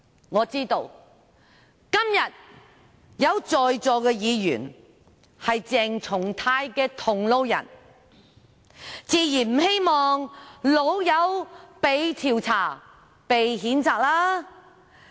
我知道今天在席的議員中，有些是鄭松泰議員的同路人，自然不希望"老友"被調查、被譴責。